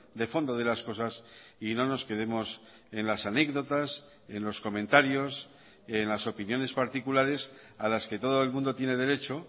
de fondo de las cosas y no nos quedemos en las anécdotas en los comentarios en las opiniones particulares a las que todo el mundo tiene derecho